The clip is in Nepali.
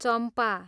चम्पा